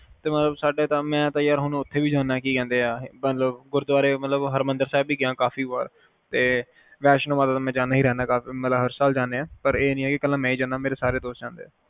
ਸਾਡੇ ਮਤਲਬ ਮੈਂ ਤਾ ਯਾਰ ਹੁਣ ਓਥੇ ਵੀ ਜਾਂਦਾ ਹਾਂ ਗੁਰਦਵਾਰੇ ਹਰਿਮੰਦਰ ਸਾਹਿਬ ਵੀ ਗਿਆ ਕਾਫੀ ਵਰ ਵੈਸ਼ਨੂੰ ਮਾਤਾ ਤੇ ਮੈਂ ਜਾਂਦਾ ਹੀ ਰਹਿੰਦਾ ਹਾਂ ਮਤਲਬ ਹਰ ਸਾਲ ਜਾਂਦਾ ਆ ਪਰ ਇਹ ਨੀ ਕਲਾ ਮੈ ਹੀ ਜਾਂਦਾ ਹਾਂ ਮੇਰੇ ਸਾਰੇ ਦੋਸਤ ਵੀ ਜਾਂਦੇ ਹੈ